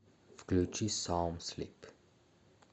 включи самслип